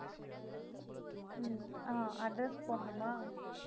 உம் ஆஹ் address போடணுமா